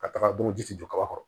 Ka taga don ji tɛ jɔ kaba kɔrɔ